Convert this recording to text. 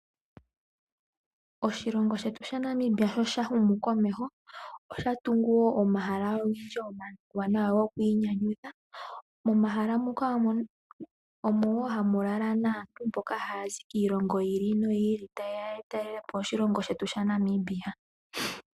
Oshilongo shetu Namibia sho sha humu komeho, osha tungu woo omahala omawanawa gokwiinyanyudha. Momahala muka omo hamu lala aantu mboka haya zi kiilongo yi ili noyi ili taye ya ya talele po oshilongo shetu Namibia.